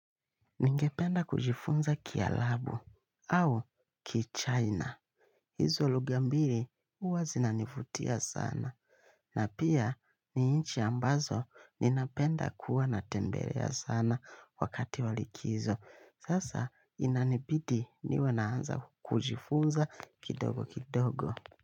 Ningependa kujifunza kialabu au kichaina. Hizo luga mbiri huwa zinanifutia sana. Na pia ni inchi ambazo ninapenda kuwa na tembelea sana wakati wa likizo. Sasa inanibidi niwe naanza kujifunza kidogo kidogo.